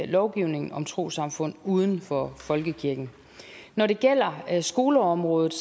lovgivningen om trossamfund uden for folkekirken når det gælder skoleområdet